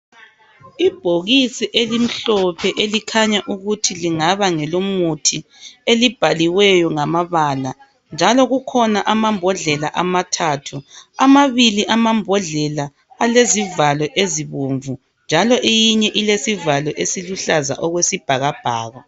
Ibhokisi elimhlophe elikhanya ukuthi lingaba ngelomuthi elibhaliweyo ngamabala njalo kukhona amambodlela amathathu. Amabili amambodlela alezivalo ezibomvu njalo eyinye ilesivalo esiluhlaza okwesibhakabhaka.